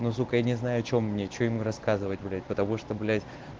но сука я не знаю что мне что ему рассказывать блять потому что блять